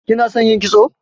Kina son yin kitso?